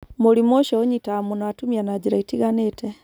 Mũrimũ ũcio ũnyitaga mũno atumia na njĩra itiganĩte.